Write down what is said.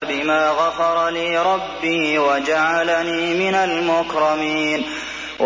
بِمَا غَفَرَ لِي رَبِّي وَجَعَلَنِي مِنَ الْمُكْرَمِينَ